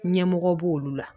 Ɲɛmɔgɔ b'olu la